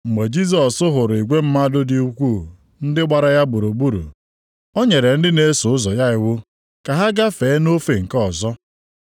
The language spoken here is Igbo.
Mgbe Jisọs hụrụ igwe mmadụ dị ukwuu ndị gbara ya gburugburu, ọ nyere ndị na-eso ụzọ ya iwu ka ha gafee nʼofe nke ọzọ.